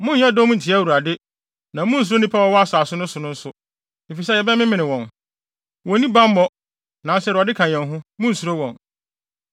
Monnyɛ dɔm ntia Awurade. Na munnsuro nnipa a wɔwɔ asase no so no nso, efisɛ yɛbɛmemene wɔn. Wonni bammɔ, nanso Awurade ka yɛn ho. Munnsuro wɔn.”